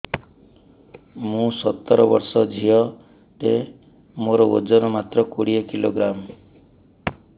ମୁଁ ସତର ବର୍ଷ ଝିଅ ଟେ ମୋର ଓଜନ ମାତ୍ର କୋଡ଼ିଏ କିଲୋଗ୍ରାମ